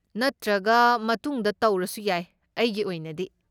ꯅꯠꯇ꯭ꯔꯒ ꯃꯇꯨꯡꯗ ꯇꯧꯔꯁꯨ ꯌꯥꯏ ꯑꯩꯒꯤ ꯑꯣꯏꯅꯗꯤ꯫